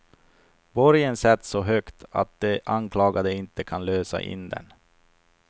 Borgen sätts så högt att de anklagade inte kan lösa in den.